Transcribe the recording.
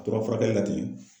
A tora furakɛli la ten